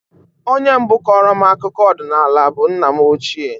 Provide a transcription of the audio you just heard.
Onye mbụ kọọrọ m akụkọ ọdịnala bụ nna m ochie